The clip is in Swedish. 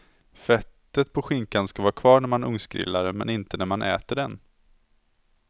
Fettet på skinkan ska vara kvar när man ugnsgrillar, men inte när man äter den.